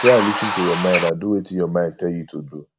try lis ten to your mind and do wetin your mind tell you to do